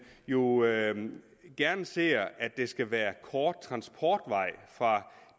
jo gerne ser at der skal være kort transportvej fra